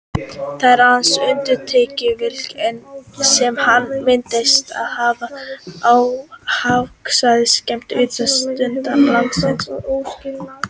Það er aðeins í undantekningartilvikum sem hann myndast á hafsvæðum skammt undan ströndum landsins.